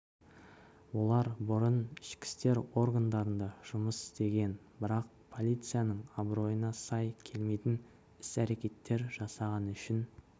олар бұрын ішкі істер органдарында жұмыс істеген бірақ полицияның абыройына сай келмейтін іс-әрекеттер жасағаны үшін